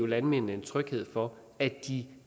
landmændene en tryghed for at de